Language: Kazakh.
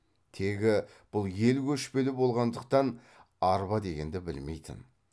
тегі бұл ел көшпелі болғандықтан арба дегенді білмейтін